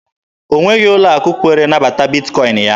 O nweghị ụlọ akụ kwere nabata Bitkọin ya.